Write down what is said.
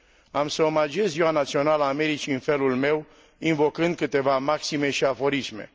Am să omagiez Ziua Națională a Americii în felul meu, invocând câteva maxime și aforisme.